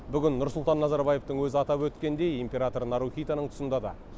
бүгін нұрсұлтан назарбаевтың өзі атап өткендей император нарухитоның тұсында да